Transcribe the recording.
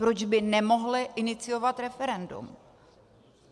Proč by nemohli iniciovat referendum?